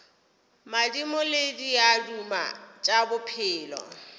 madimo le diaduma tša bophelo